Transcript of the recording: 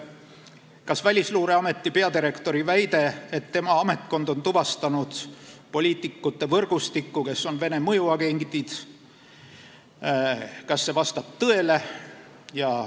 Kas Välisluureameti peadirektori väide, et tema ametkond on tuvastanud poliitikute võrgustiku, kes on Vene mõjuagendid, vastab tõele?